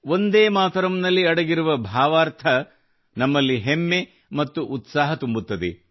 ವಂದೇಮಾತರಂ ನಲ್ಲಿ ಅಡಗಿರುವ ಭಾವಾರ್ಥ ನಮಲ್ಲಿ ಹೆಮ್ಮೆ ಮತ್ತು ಉತ್ಸಾಹ ತುಂಬುತ್ತದೆ